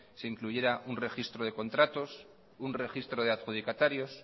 se incluyera un registro de contratos un registro de adjudicatarios